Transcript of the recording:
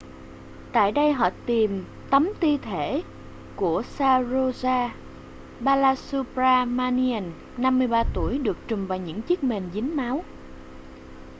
tại đây họ tìm thấm thi thể của saroja balasubramanian 53 tuổi được trùm bằng những chiếc mền dính máu